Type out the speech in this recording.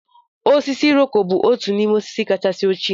Osisi Iroko bụ otu n'ime osisi kacha ochie.